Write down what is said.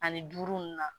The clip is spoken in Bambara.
Ani duuru ninnu na